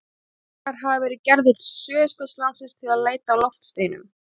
Leiðangrar hafa verið gerðir til Suðurskautslandsins til að leita að loftsteinum.